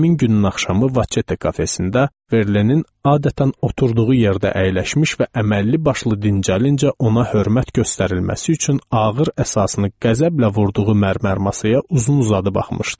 Həmin günün axşamı Vaçete kafesində Verlenin adətən oturduğu yerdə əyləşmiş və əməlli başlı dincəlinə ona hörmət göstərilməsi üçün ağır əsasını qəzəblə vurduğu mərmər masaya uzun-uzadı baxmışdım.